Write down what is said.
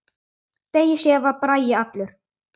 Degi síðar var Bragi allur.